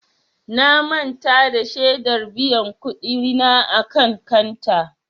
Na manta da shedar biyan kuɗi na a kan kanta.